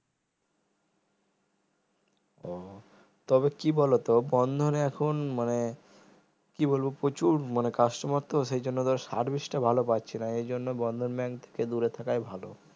ও তবে কি বলোতো বন্ধনে এখন মানে কি বলবো প্রচুর customer তো service টা ভালো পাচ্ছি না এর জন্য বন্ধন bank থেকে দূরে থাকাই ভালো